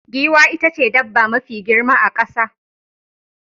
Giwa ita ce dabba mafi girma a kasa.